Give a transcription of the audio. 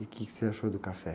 E o quê que você achou do café?